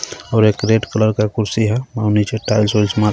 और एक red colour का कुर्सी हे और निचे टाइल्स वाइस मारा--